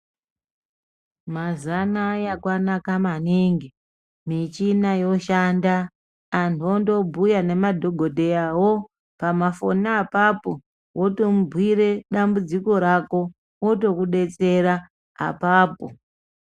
Mazuva anaya kwanaka maningi michina yoshanda antu onobhuya nemadhogodheyavo. Pamafoni apapo votomubhuire dambudziko rako otokubetsera apapo.